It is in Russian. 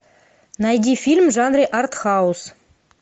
найди фильм в жанре артхаус